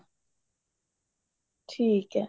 ਠੀਕ ਹੈ